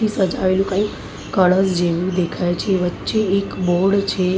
સજાવેલું કઈ કળશ જેવું દેખાય છે. વચ્ચે એક બોર્ડ છે.